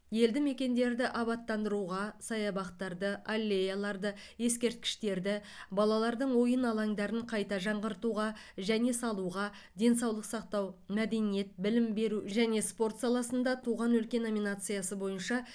елді мекендерді абаттандыруға саябақтарды аллеяларды ескерткіштерді балалардың ойын алаңдарын қайта жаңғыртуға және салуға денсаулық сақтау мәдениет білім беру және спорт саласында туған өлке номинациясы бойынша